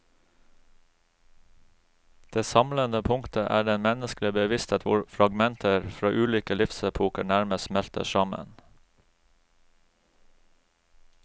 Det samlende punktet er den menneskelige bevissthet hvor fragmenter fra ulike livsepoker nærmest smelter sammen.